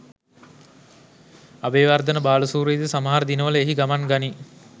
අබේවර්ධන බාලසූරියද සමහර දිනවල එහි ගමන් ගනී.